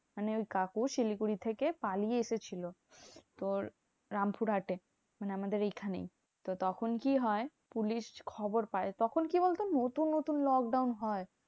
মানে ওই কাকু শিলিগুড়ি থেকে পালিয়ে এসেছিলো। তোর রামপুরহাটে, মানে আমাদের এইখানেই। তো তখন কি হয়? পুলিশ খবর পায়। তখন কি বলতো? নতুন নতুন lockdown হয়।